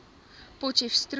potcheftsroom